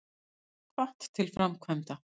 Hvatt til framkvæmda